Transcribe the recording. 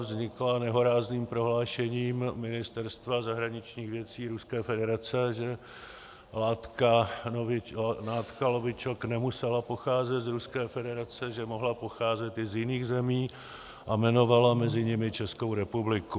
Vznikla nehorázným prohlášením Ministerstva zahraničních věcí Ruské federace, že látka novičok nemusela pocházet z Ruské federace, že mohla pocházet i z jiných zemí, a jmenovalo mezi nimi Českou republiky.